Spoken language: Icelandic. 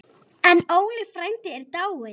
Óli frændi er dáinn.